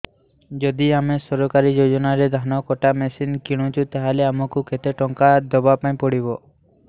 ଯଦି ଆମେ ସରକାରୀ ଯୋଜନାରେ ଧାନ କଟା ମେସିନ୍ କିଣୁଛେ ତାହାଲେ ଆମକୁ କେତେ ଟଙ୍କା ଦବାପାଇଁ ପଡିବ